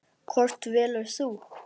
Hvort velur þú?